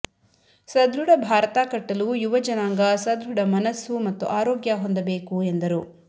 ಸಧೃಡ ಭಾರತ ಕಟ್ಟಲು ಯುವ ಜನಾಂಗ ಸಧೃಡ ಮನಸ್ಸು ಮತ್ತು ಆರೋಗ್ಯ ಹೊಂದಬೇಕು ಎಂದರು